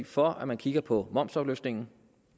for at man kigger på momsafløftningen